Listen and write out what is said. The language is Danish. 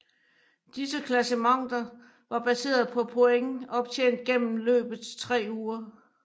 Disse klassementer var baseret på point optjent gennem løbets tre uger